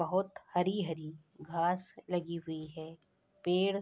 बहुत हरी-हरी घांस लगी हुई है पेड़ --